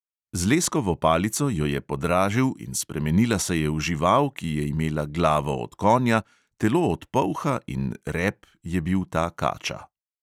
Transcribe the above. Z leskovo palico jo je podražil in spremenila se je v žival, ki je imela glavo od konja, telo od polha in rep je bil ta kača.